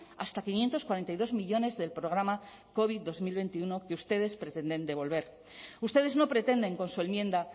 hasta quinientos cuarenta y dos millónes del programa covid dos mil veintiuno que ustedes pretenden devolver ustedes no pretenden con su enmienda